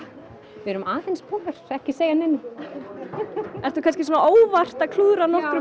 við erum aðeins búnar ekki segja neinum ertu kannski óvart að klúðra nokkrum